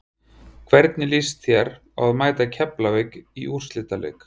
Hvernig lýst þér á að mæta Keflavík í úrslitaleik?